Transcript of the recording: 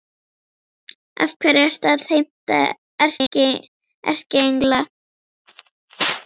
Af hverju ertu að heimta erkiengla?